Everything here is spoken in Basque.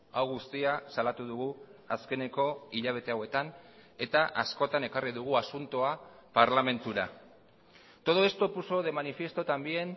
hau guztia salatu dugu azkeneko hilabete hauetan eta askotan ekarri dugu asuntoa parlamentura todo esto puso de manifiesto también